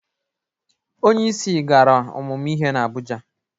Onyeisi gara ụmụmụ ihe n'Abụja.